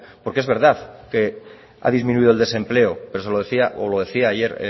porque es verdad que ha disminuido el desempleo pero se lo decía o lo decía ayer